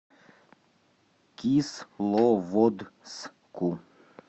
кисловодску